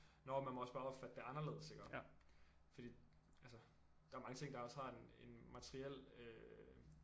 Nåh man må også bare opfatte det anderledes iggå fordi altså der er mange ting der også har en en materiel øh